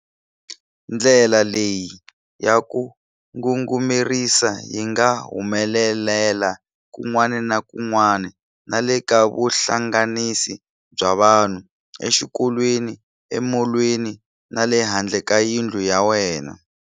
Ndlela leyi ya ku ngungumerisa yi nga humelela kun'wana na kun'wana na le ka vuhlanganisi bya vanhu, exikolweni, emolweni na le handle ka yindlu ya wena.